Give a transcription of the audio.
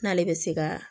N'ale bɛ se ka